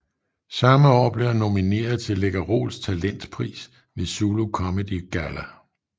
Samme år blev han nomineret til Läkerols Talentpris ved Zulu Comedy Galla